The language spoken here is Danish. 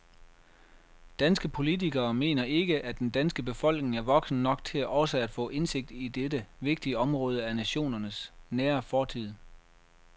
Danske politikere mener ikke, at den danske befolkning er voksen nok til også at få indsigt i dette vigtige område af nationens nære fortid.